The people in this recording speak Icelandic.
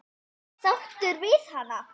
Sáttur við hana?